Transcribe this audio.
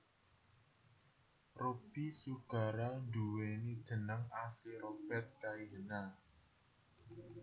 Robby Sugara nduwéni jeneng asli Robert Kaihena